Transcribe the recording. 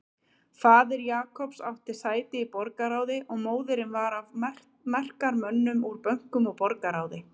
Faðir Jacobs átti sæti í borgarráði og móðirin var af mektarmönnum úr bönkum og borgarráði.